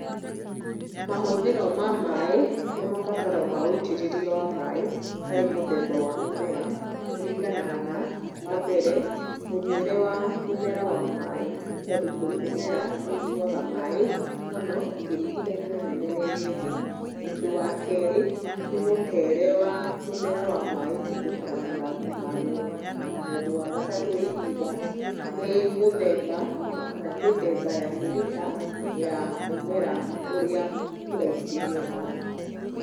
Mahũthĩro ma maĩ na mabataro ma wĩitĩrĩria wa maĩ harĩ mũthemba wa mũmera kũringanaga na, wambere; mũnyuĩre wa mũmera wa maĩ, tondũ kũrĩ mĩmera ĩnyuwaga maĩ mũno ĩkĩringithanio na mĩmera ĩrĩa ĩngĩ. Ũndũ wa kerĩ nĩ mũtere wa mũmera wa maĩ kũhĩtũkĩra mathangũ maguo. Na ũndũ wa gatatũ ingiuga nĩ mũthemba kana mĩthemba ya mĩrĩta ya mũmera ũrĩa ũraitĩrĩrio maĩ.